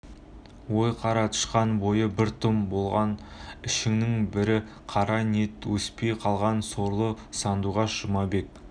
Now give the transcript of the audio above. ой қара тышқан бойы бір тұтам болған ішіңнің брі қара ниеттен өспей қалған сорлы сандуғаш жұмабек